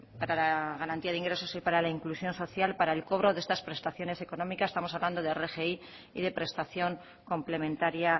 para la garantía de ingresos y para la inclusión social para el cobro de estas prestaciones económicas estamos hablando de rgi y de prestación complementaria